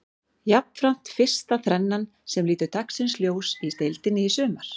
Jafnframt fyrsta þrennan sem lítur dagsins ljós í deildinni í sumar.